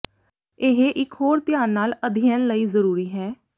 ਇਹ ਇੱਕ ਹੋਰ ਧਿਆਨ ਨਾਲ ਅਧਿਐਨ ਲਈ ਜ਼ਰੂਰੀ ਹੈ